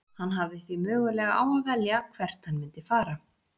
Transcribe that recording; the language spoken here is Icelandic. Hann hafði því möguleika á að velja hvert hann myndi fara.